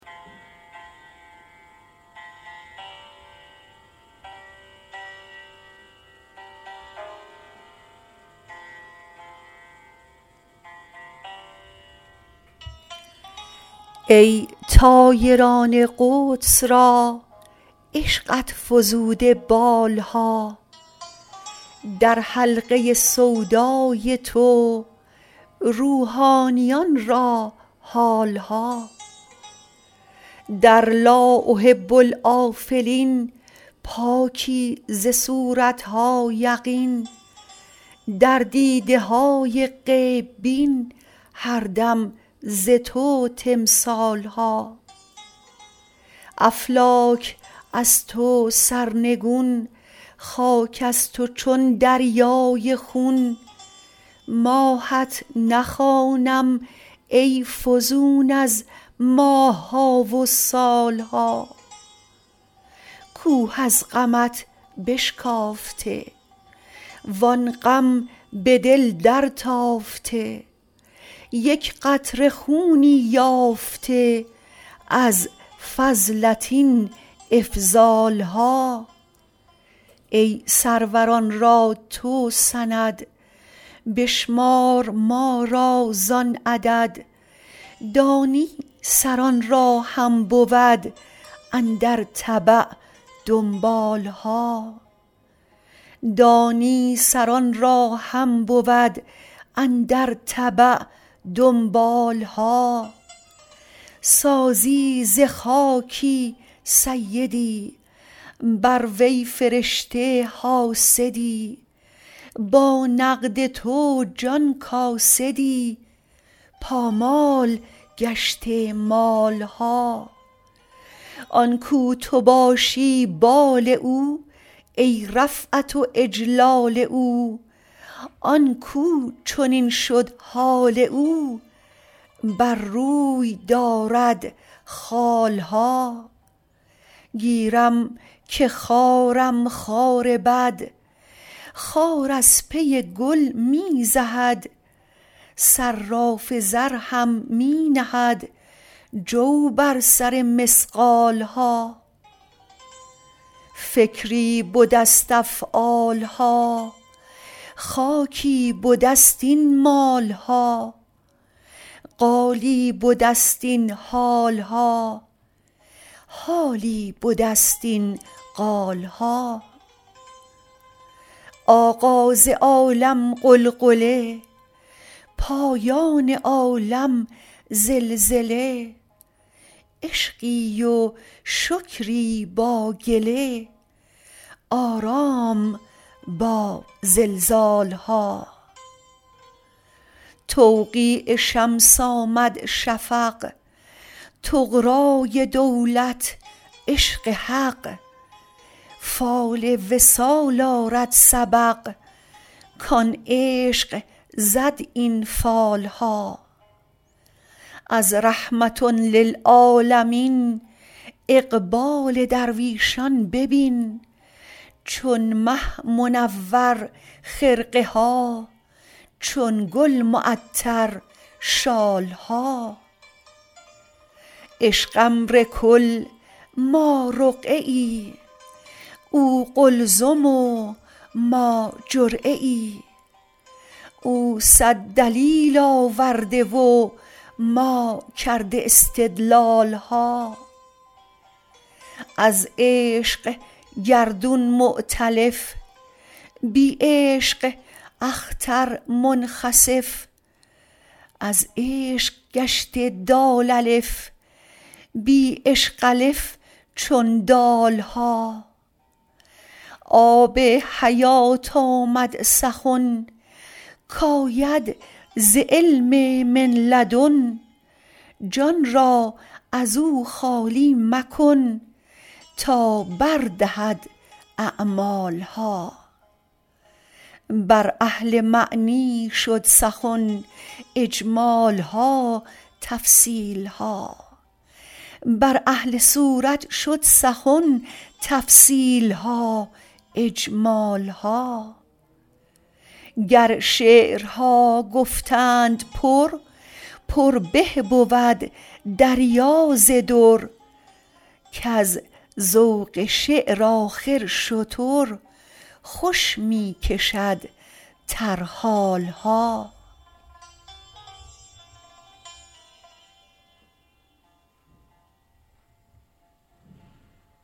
ای طایران قدس را عشقت فزوده بال ها در حلقه سودای تو روحانیان را حال ها در لا احب الآفلین پاکی ز صورت ها یقین در دیده های غیب بین هر دم ز تو تمثال ها افلاک از تو سرنگون خاک از تو چون دریای خون ماهت نخوانم ای فزون از ماه ها و سال ها کوه از غمت بشکافته وان غم به دل درتافته یک قطره خونی یافته از فضلت این افضال ها ای سروران را تو سند بشمار ما را زان عدد دانی سران را هم بود اندر تبع دنبال ها سازی ز خاکی سیدی بر وی فرشته حاسدی با نقد تو جان کاسدی پامال گشته مال ها آن کاو تو باشی بال او ای رفعت و اجلال او آن کاو چنین شد حال او بر روی دارد خال ها گیرم که خارم خار بد خار از پی گل می زهد صراف زر هم می نهد جو بر سر مثقال ها فکری بده ست افعال ها خاکی بده ست این مال ها قالی بده ست این حال ها حالی بده ست این قال ها آغاز عالم غلغله پایان عالم زلزله عشقی و شکری با گله آرام با زلزال ها توقیع شمس آمد شفق طغرای دولت عشق حق فال وصال آرد سبق کان عشق زد این فال ها از رحمة للعالمین اقبال درویشان ببین چون مه منور خرقه ها چون گل معطر شال ها عشق امر کل ما رقعه ای او قلزم و ما جرعه ای او صد دلیل آورده و ما کرده استدلال ها از عشق گردون مؤتلف بی عشق اختر منخسف از عشق گشته دال الف بی عشق الف چون دال ها آب حیات آمد سخن کاید ز علم من لدن جان را از او خالی مکن تا بر دهد اعمال ها بر اهل معنی شد سخن اجمال ها تفصیل ها بر اهل صورت شد سخن تفصیل ها اجمال ها گر شعرها گفتند پر پر به بود دریا ز در کز ذوق شعر آخر شتر خوش می کشد ترحال ها